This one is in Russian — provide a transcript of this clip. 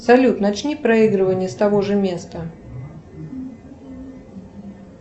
салют начни проигрывание с того же места